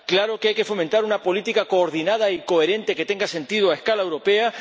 Claro que hay que fomentar una política coordinada y coherente que tenga sentido a escala europea.